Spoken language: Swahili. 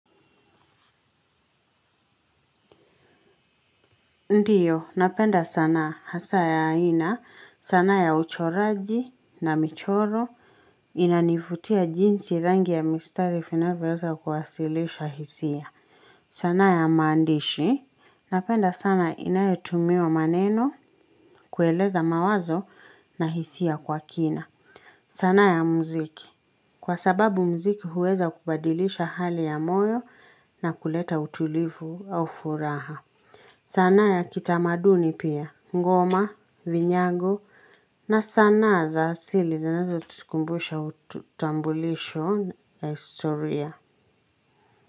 Ndiyo, napenda sanaa hasa ya aina, sanaa ya uchoraji na michoro, inanivutia jinsi rangi ya mistari finavyoweza kuwasilisha hisia. Sanaa ya maandishi, napenda sana inayotumia maneno, kueleza mawazo na hisia kwa kina. Sana ya mziki, kwa sababu mziki huweza kubadilisha hali ya moyo na kuleta utulivu au furaha. Sanaa ya kitamaduni pia, ngoma, vinyago, na sanaa za asili zinazo tukumbusha utambulisho ya historia.